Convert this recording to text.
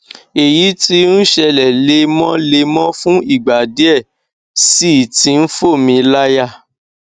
èyí tí ń ṣẹlẹ lemọlemọ fún ìgbà díẹ sì ti ń fò mí láyà